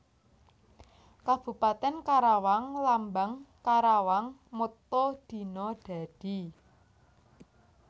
Kabupatèn KarawangLambang KarawangMotto Dina Dadi